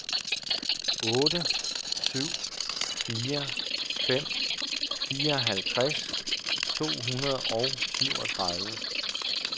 otte syv fire fem fireoghalvfjerds to hundrede og syvogtredive